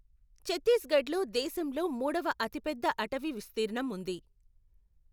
ఛత్తీస్గఢ్లో దేశంలో మూడవ అతిపెద్ద అటవీ విస్తీర్ణం ఉంది.